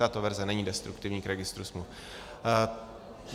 Tato verze není destruktivní k registru smluv.